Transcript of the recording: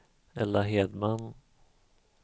Ella Hedman